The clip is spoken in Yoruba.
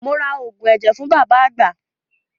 Mo ra oògùn ẹ̀jẹ̀ fún bàbá àgbà.